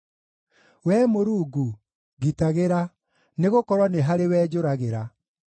Wee Mũrungu, ngitagĩra, nĩgũkorwo nĩ harĩwe njũragĩra.